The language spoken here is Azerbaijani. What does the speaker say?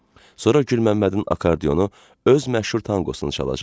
Sonra Gülməmmədin akardionu öz məşhur tanqonunu çalacaqdı.